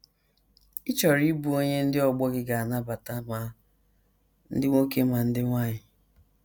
Ị chọrọ ịbụ onye ndị ọgbọ gị ga - anabata, ma ndị nwoke ma ndị nwanyị.